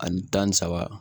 Ani tan ni saba